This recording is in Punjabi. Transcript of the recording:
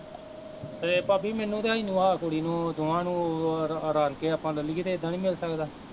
ਤੇ ਭਾਬੀ ਮੈਨੂੰ ਤੇ ਇਹਨੂੰ ਆਹ ਕੁੜੀ ਨੂੰ ਦੋਵਾਂ ਨੂੰ, ਰਲ਼ ਕੇ ਆਪਾਂ ਲੇਲੀਏ ਤੇ ਏਦਾਂ ਨੀ ਮਿਲ ਸਕਦਾ